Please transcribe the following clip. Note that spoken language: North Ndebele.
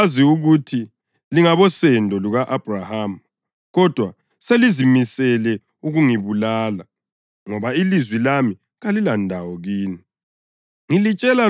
Ngiyakwazi ukuthi lingabosendo luka-Abhrahama. Kodwa selizimisele ukungibulala ngoba ilizwi lami kalilandawo kini.